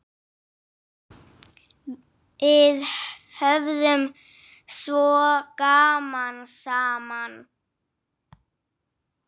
Við höfðum svo gaman saman.